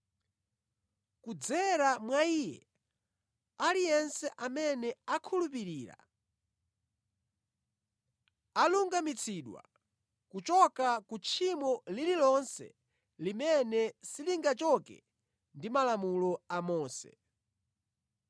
Kudzera mwa Iye aliyense amene akhulupirira, alungamitsidwa kuchoka ku tchimo lililonse limene silingachoke ndi Malamulo a Mose.